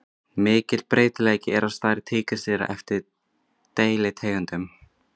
Mikill breytileiki er á stærð tígrisdýra eftir deilitegundum.